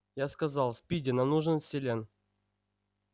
я сказал спиди нам нужен селен